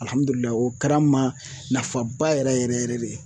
o kɛra n ma nafaba yɛrɛ yɛrɛ yɛrɛ de ye.